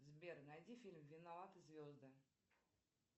сбер найди фильм виноваты звезды